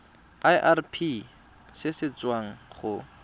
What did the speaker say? irp se se tswang go